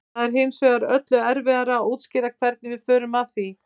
það er hins vegar öllu erfiðara að útskýra hvernig við förum að því